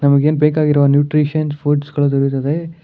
ನಮಗೆ ಎನ್ ಬೇಕಾಗಿರುವ ನ್ಯೂಟ್ರಿಷನ್ ಫುಡ್ಸ್ ಗಳು ಸಿಗುತ್ತದೆ.